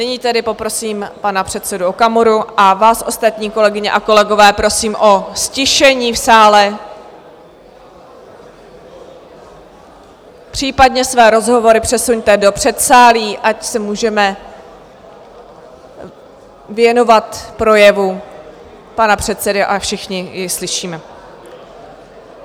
Nyní tedy poprosím pana předsedu Okamuru a vás ostatní, kolegyně a kolegové, prosím o ztišení v sále, případně své rozhovory přesuňte do předsálí, ať se můžeme věnovat projevu pana předsedy a všichni i slyšíme.